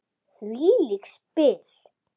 Hvílík spil!